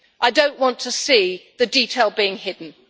I do not want to see the detail being hidden.